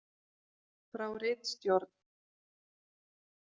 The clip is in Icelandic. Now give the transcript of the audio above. Frá ritstjórn: